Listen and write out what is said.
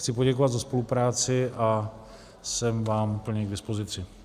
Chci poděkovat za spolupráci a jsem vám plně k dispozici.